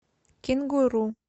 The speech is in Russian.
кенгуру